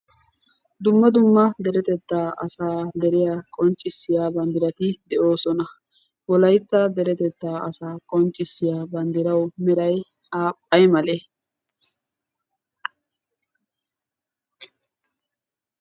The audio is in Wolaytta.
dumma dumma deretettaa asaa deriya qonccissiya banddirati de'oosona. wolaytta deretettaa asaa qonccissiya banddirawu meray ay malee?